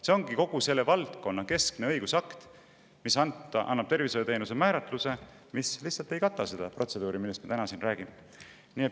See on selle valdkonna keskne õigusakt, mis annab tervishoiuteenuse määratluse, ja see ei kata seda protseduuri, millest me siin täna räägime.